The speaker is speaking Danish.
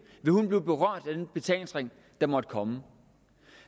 blive berørt af den betalingsring der måtte komme